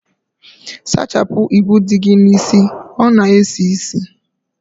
Sachapụ igwu dị gị n'isi, ọ na esi isi